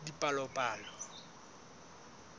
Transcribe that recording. dipalopalo